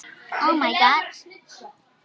Ég varð að gera það.